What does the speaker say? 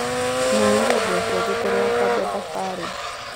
Tũhũrire nguo ciothe mbere ya kuambia thabarĩ.